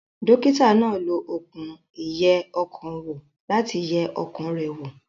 Dókítà náà lo okùn ìyẹ ọkàn wò láti yẹ ọkàn rẹ̀ wò